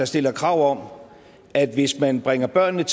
stiller krav om at hvis man bringer børnene